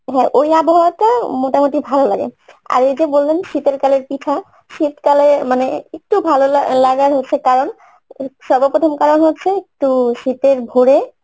হ্যাঁ, ওই আবহাওয়াটা মোটামুটি ভালো লাগে আর ওই যে বললাম শীতেরকালের পিঠা শীতকালে মানে একটু ভালো লা~ লাগার কারণ সর্বপ্রথম কারণ হচ্ছে একটু শীতের ভোরে